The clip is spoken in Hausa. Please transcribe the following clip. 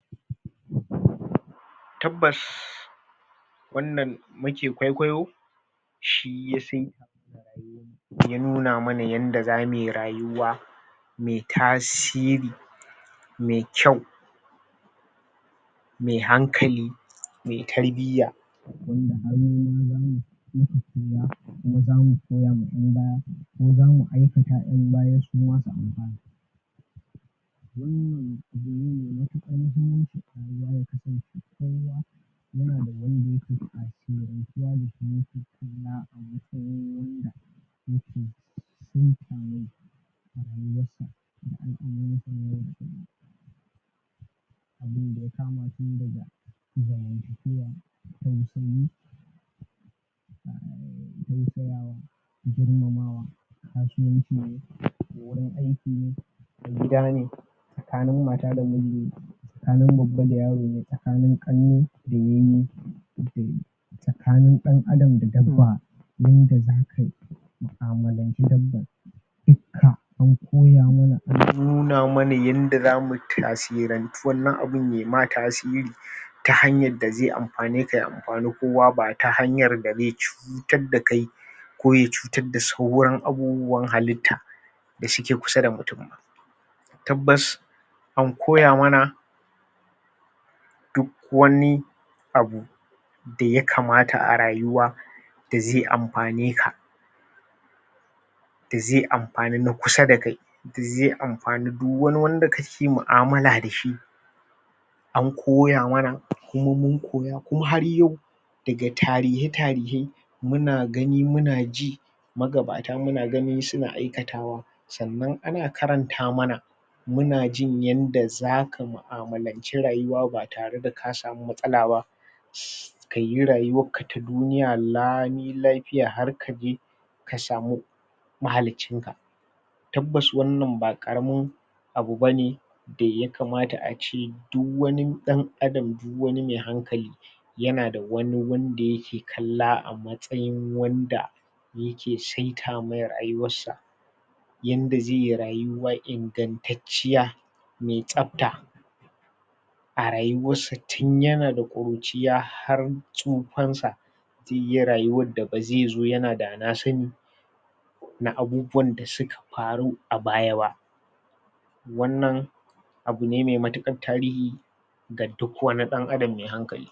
? tabbas wannan muke kwaikwayo shi ya sai ke nuna muna yadda zamuyi rayuwa mai tasiri mai kyau mai hankali mai tarbiya mai tarbiyya?? idan aikata yan bayan su? wannan nan domin yafi ƙarfin su nema suke anya nema ma manya